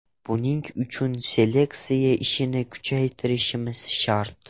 Buning uchun seleksiya ishini kuchaytirishimiz shart.